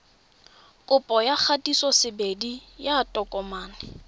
kopo ya kgatisosebedi ya tokomane